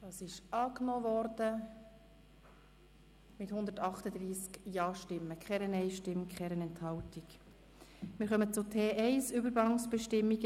Sie haben den Antrag mit 138 Ja- gegen 0 Nein-Stimmen bei 0 Enthaltungen angenommen.